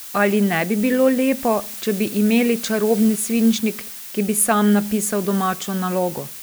Ali ne bi bilo lepo, če bi imeli čarobni svinčnik, ki bi sam napisal domačo nalogo?